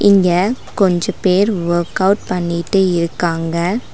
இங்க கொஞ்ச பேர் ஒர்க் அவுட் பண்ணிட்டு இருக்காங்க.